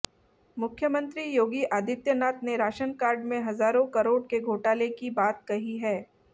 मुख्यमंत्री योगी आदित्यनाथ ने ration card में हजारों करोड़ के घोटाले की बात कही है